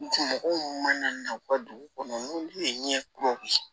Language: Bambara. Mɔgɔw mana na u ka dugu kɔnɔ n'olu ye ɲɛkuraw ye